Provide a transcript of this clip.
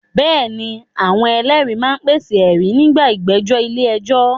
Bẹ́ẹ̀ ni, àwọn ẹlẹ́rìí máa ń pèsè ẹ̀rí nígbà ìgbẹ́jọ́ ilé ẹjọ́